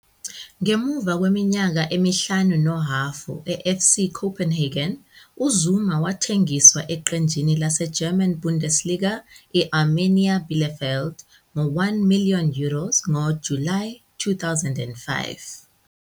Ngemuva kweminyaka emihlanu nohhafu e-FC Copenhagen, uZuma wathengiswa eqenjini laseGerman Bundesliga i- Arminia Bielefeld ngo- 1 million euros ngoJulayi 2005.